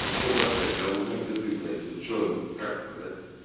и все да блядь я узнаю где ты блядь или что как это да